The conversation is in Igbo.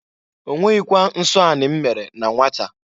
Onweghịkwa nsọ anị m mere na nwata.